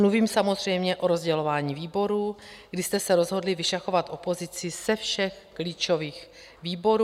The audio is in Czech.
Mluvím samozřejmě o rozdělování výborů, kdy jste se rozhodli vyšachovat opozici ze všech klíčových výborů.